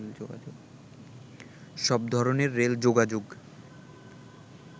সব ধরনের রেল যোগাযোগ